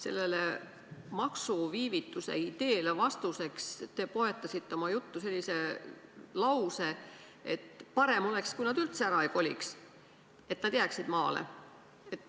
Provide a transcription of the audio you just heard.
Sellele maksuviivituse ideele vastuseks: te poetasite oma juttu sellise lause, et parem oleks, kui nad üldse ära ei koliks, et nad jääksid maale.